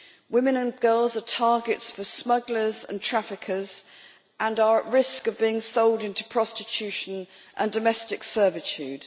Women and girls are targets for smugglers and traffickers and are at risk of being sold into prostitution and domestic servitude.